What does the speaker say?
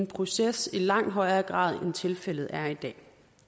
proces i langt højere grad end tilfældet er i dag